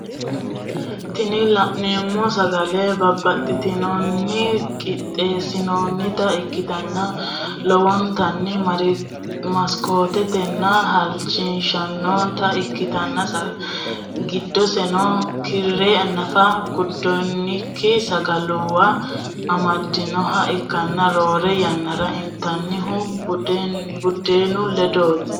Tini lanemo sagale babatitinorinni qitesinonita ikitana lowonitani marekisanotana halichishshanota ikiatana gidoseno kirre naffa gudaniki sagaluwa amdinoha ikana rore yanara initanihu budenu ledoti.